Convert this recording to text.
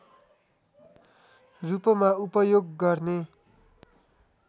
रूपमा उपयोग गर्ने